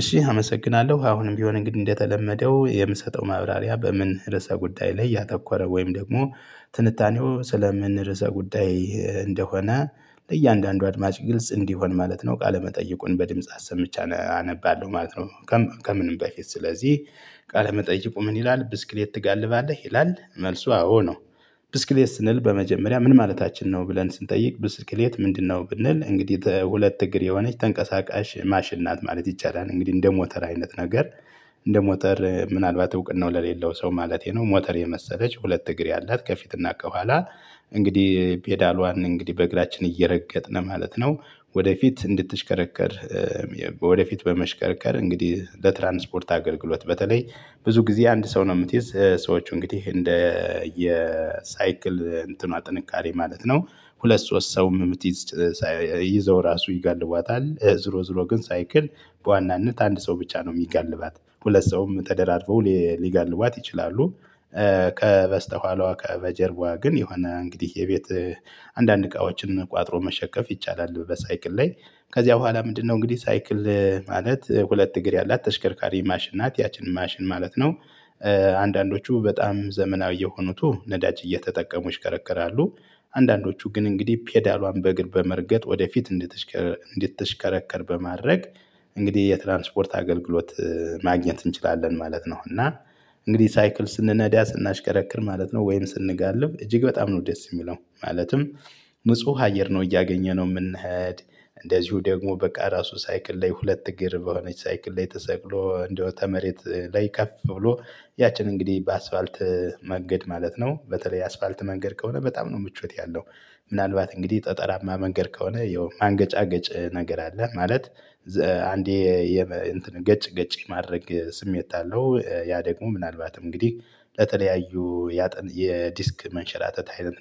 እሺ አመሰግናለሁ አሁንም ቢሆን እንግዲህ እንደተለመደው የምሰጠው ማብራሪያ በምን ርዕሰ ጉዳይ ላይ ያተኮረ ወይም ደግሞ ትንታኔው ስለምን ርዕሰ ጉዳይ እንደሆነ ለእያንዳንዱ አድማጭ ግልጽ እንዲሆን ማለት ነው ቃለመጠየቁን በድምጽ አሰምቼ አነባለሁ ማለት ነው። ከምንም በፊት ስለዚህ ቃለመጠየቁ ምን ይላል ብስክሌት ትጋልባለህ ይላል መልሱ አዎ ነው። ብስክሌት ስንል በመጀመሪያ ምን ማለታችን ነው ብለን ስንጠይቅ ብስክሌት ምንድነው? ብንል እንግዲህ ሁለት እግር የሆነች ተንቀሳቃሽ ማሽን ናት ማለት ይቻላል። እንግዲህ እንደ ሞተር አይነት ነገር እንደ ሞተር ምናልባት እውቅናው ለሌለው ሰው ማለቴ ነው ሞተር የመሰለች ሁለት እግር ያላት ከፊትና ከኋላ እንግዲህ ፔዳሏን እንግዲህ በእግራችን እየረገጥን ማለት ነው። ወደፊት እንድትሽከረከር ወደፊት በመሽከርከር እንግዲህ ለትራንስፖርት አገልግሎት በተለይ ብዙ ጊዜ አንድ ሰው ነው የምትይዝ ሰዎች እንግዲህ እንደ የሳይክል እንትኗ ጥንካሬ ማለት ነው። ሁለት ሶስት ሰውም። ይዘው ራሱ ይገልቧታል ዝሮ ዝሮ ግን ሳይክል በዋናነት አንድ ሰው ብቻ ነው የሚጋልባት ሁለት ሰውም ተደራርበው ሊጋልቧት ይችላሉ። ከበስተኋሏ ከበጀርባዋ ግን የሆነ እንግዲህ የቤት አንዳንድ እቃዎችን ቋጥሮ መሸከፍ ይቻላል በሳይክል ላይ። ከዚያ በኋላ ምንድነው እንግዲህ ሳይክል ማለት ሁለት እግር ያላት ተሽከርካሪ ማሽን ናት ያችን ማሽን ማለት ነው። አንዳንዶቹ በጣም ዘመናዊ የሆኑት ነዳጅ እየተጠቀሙ ይሽከረከራሉ። አንዳንዶቹ ግን እንግዲህ ፔዳሏን በእግር በመርገጥ ወደፊት እንድትሽከረከር በማድረግ እንግዲህ የትራንስፖርት አገልግሎት ማግኘት እንችላለን ማለት ነው። እና እንግዲህ ሳይክል ስንነዳ ስናሽከረክር ማለት ነው ወይም ስንጋልብ እጅግ በጣም ነው ደስ የሚለው ማለትም። ንጹህ አየር ነው እያገኘነው የምንሄድ እንደዚሁ ደግሞ በቃ ራሱ ሳይክል ላይ ሁለት እግር በሆነች ሳይክል ላይ ተሰቅሎ እንደው ተመሬት ላይ ከፍ ብሎ ያችን እንግዲህ በአስፋልት መንገድ ማለት ነው በተለይ የአስፋልት መንገድ ከሆነ በጣም ነው ምቾት ያለው። ምናልባት እንግዲህ ጠጠራማ መንገድ ከሆነ ያው ማንገጫገጭ ነገር አለ ማለት። አንዴ ገጭ ገጭ የማድረግ ስሜት አለው ያ ደግሞ ምናልባትም እንግዲህ ለተለያዩ የዲስክ መንሸራተት አይነት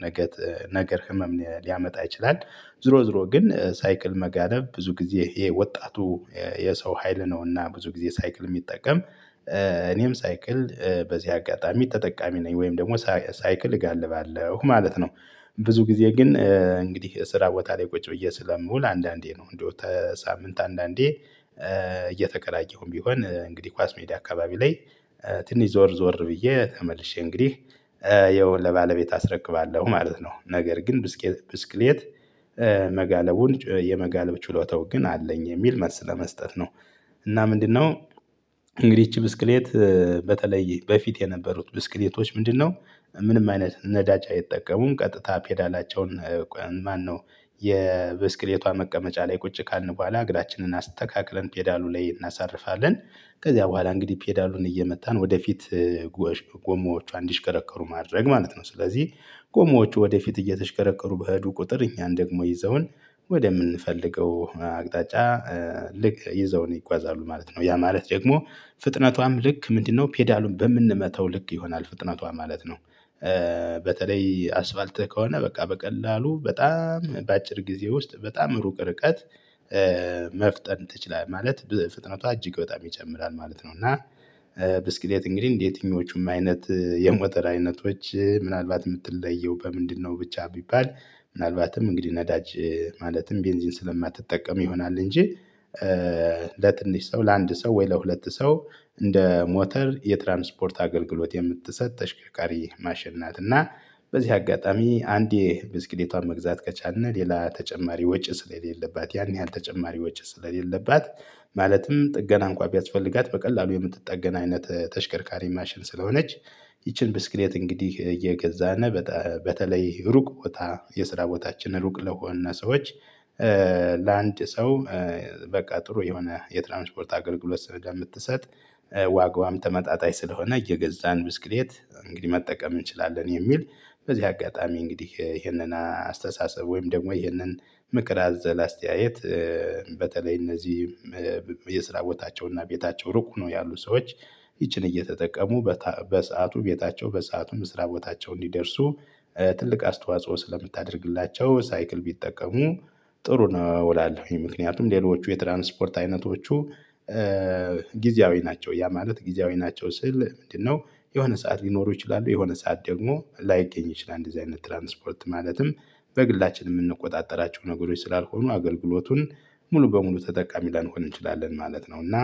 ነገር ህመም ሊያመጣ ይችላል። ዙሮ ዙሮ ግን ሳይክል መጋነብ ብዙ ጊዜ ይሄ ወጣቱ የሰው ሀይል ነውና ብዙ ጊዜ ሳይክል የሚጠቀም። እኔም ሳይክል በዚህ አጋጣሚ ተጠቃሚ ነኝ ወይም ደግሞ ሳይክል እጋልባለሁ ማለት ነው። ብዙ ጊዜ ግን እንግዲህ ስራ ቦታ ላይ ቁጭ ብዬ ስለምውል አንዳንዴ ነው እንደው ከሳምንት አንዳንዴ እየተከራየሁም ቢሆን እንግዲህ ኳስ ሜዳ አካባቢ ላይ ትንሽ ዞር ዞር ብዬ ተመልሼ እንግዲህ ያው ለባለቤት አስረክባለሁ ማለት ነው። ነገር ግን ብስክሌት መጋለቡን የመጋለብ ችሎታው ግን አለኝ የሚል መልስ ለመስጠት ነው። እና ምንድነው እንግዲህ ይቺ ብስክሌት በተለየ በፊት የነበሩት ብስክሌቶች ምንድነው? ምንም አይነት ነዳጅ አይጠቀሙም ቀጥታ ፔዳላቸውን ማነው የብስክሌቷ መቀመጫ ላይ ቁጭ ካልን በኋላ እግዳችንን አስተካክለን ፔዳሉ ላይ እናሳርፋለን። ከዚያ በኋላ እንግዲህ ፔዳሉን እየመታን ወደፊት ጎሞዎቿ እንዲሽከረከሩ ማድረግ ማለት ነው። ስለዚህ ጎማዎች ወደፊት እየተሽከረከሩ በሄዱ ቁጥር እኛን ደግሞ ይዘውን ወደምንፈልገው አቅጣጫ ልክ ይዘውን ይጓዛሉ ማለት ነው። ያ ማለት ደግሞ ፍጥነቷም ልክ ምንድነው ፔዳሉን በምንመታው ልክ ይሆናል ፍጥነቷ ማለት ነው። በተለይ አስፋልት ከሆነ በቃ በቀላሉ በጣም በአጭር ጊዜ ውስጥ በጣም ሩቅ ርቀት መፍጠን ትችላለህ ማለት በፍጥነቷ እጅግ በጣም ይወጣል ይጨምራል ማለት ነው። እና ብስክሌት እንግዲህ የትኞቹም አይነት የሞተር አይነቶች ምናልባት የምትለየው በምንድነው? ብቻ ቢባል ምናልባትም እንግዲህ ነዳጅ ማለትም ቤንዚን ስለማትጠቀም ይሆናል እንጂ ለትንሽ ሰው ለአንድ ሰው ወይ ለሁለት ሰው እንደ ሞተር የትራንስፖርት አገልግሎት የምትሰጥ ተሽከርካሪ ማሽን ናት። እና በዚህ አጋጣሚ አንዴ ብስክሌቷን መግዛት ከቻልን ሌላ ተጨማሪ ወጭ ስለሌለባት ያን ያህል ተጨማሪዎች ስለሌለባት ማለትም ጥገና እንኳን ቢያስፈልጋት በቀላሉ የምትጠገን አይነት ተሽከርካሪ ማሽን ስለሆነች። ይቺን ብስክሌት እንግዲህ እየገዛነ በተለይ ሩቅ ቦታ የስራ ቦታችን ሩቅ ለሆነ ሰዎች። ለአንድ ሰው በቃ ጥሩ የሆነ የትራንስፖርት አገልግሎት ስለምትሰጥ። ዋጋዋም ተመጣጣኝ ስለሆነ እየገዛን ብስክሌት እንግዲህ መጠቀም እንችላለን የሚል። በዚህ አጋጣሚ እንግዲህ ይሄንን አስተሳሰብ ወይም ደግሞ ይህንን ምክር አዘል አስተያየት። በተለይ እነዚህ የስራ ቦታቸውና ቤታቸው ሩቅ ነው ያሉት ሰዎች ይቺን እየተጠቀሙ በሰአቱ ቤታቸው በሰአቱም ስራ ቦታቸውን ሊደርሱ ትልቅ አስተዋጽኦ ስለምታደርግላቸው ሳይክል ቢጠቀሙ ጥሩ ነው። እላለሁኝ ምክንያቱም ሌሎቹ የትራንስፖርት አይነቶቹ ጊዜያዊ ናቸው ያ ማለት ጊዜያዊ ናቸው ስል ምንድነው? የሆነ ሰዓት ሊኖሩ ይችላሉ የሆነ ሰዓት ደግሞ ላይገኝ ይችላል እንደዚህ አይነት ትራንስፖርት ማለትም በግላችን የምንቆጣጠራቸው ነገሮች ስላልሆኑ አገልግሎቱን ሙሉ በሙሉ ተጠቃሚ ላንሆን እንችላለን ማለት ነው። እና